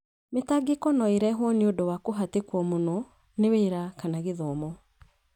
Mĩtangĩko no ĩrehwo nĩ ũndũ wa kũhatĩkwo mũno nĩ wĩra kana gĩthomo.